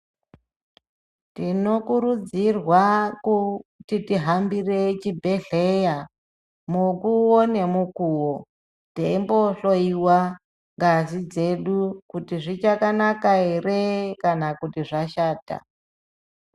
Tino kurudzirwa kuti ti hambire chibhedhleya mukuwo ne mukuwo teimbo hloyiwa ngazi dzedu kuti zvichaka naka ere kana kuti zvashata.